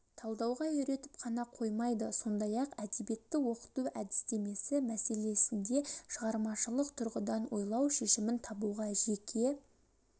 талдауға үйретіп қана қоймайды сондай-ақ әдебиетті оқыту әдістемесі мәселесінде шығармашылық тұрғыдан ойлау шешімін табуға жеке